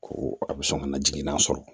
Ko a bɛ sɔn ka na jiginna sɔrɔ